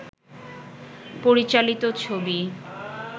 পরিচালিত ছবি